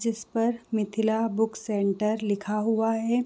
जिस पर Mithila book centre लिखा हुआ है